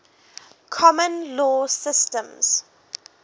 common law systems